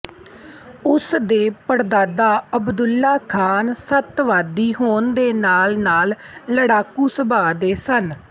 ਉਸ ਦੇ ਪੜਦਾਦਾ ਅਬਦੁੱਲਾ ਖ਼ਾਨ ਸਤਵਾਦੀ ਹੋਣ ਦੇ ਨਾਲ ਹੀ ਨਾਲ ਲੜਾਕੂ ਸੁਭਾਅ ਦੇ ਸਨ